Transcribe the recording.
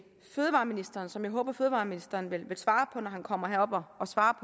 fødevareministeren som jeg håber at fødevareministeren vil svare på når han kommer herop og svarer